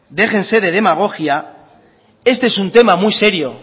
déjense de demagogia este es un tema muy serio